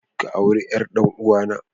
Ka auri ƴar ɗanuwanka.